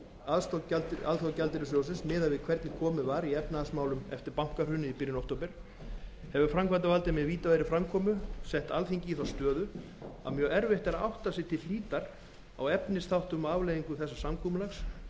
aðstoð alþjóðagjaldeyrissjóðsins miðað við hvernig komið var í efnahagsmálum eftir bankahrunið í byrjun október hefur framkvæmdarvaldið með vítaverðri framkomu sett alþingi í þá stöðu að mjög erfitt er að átta sig til hlítar á efnisþáttum og afleiðingum þessa samkomulags um